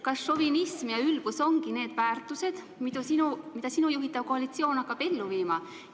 Kas šovinism ja ülbus ongi need väärtused, mida sinu juhitav koalitsioon hakkab ellu viima?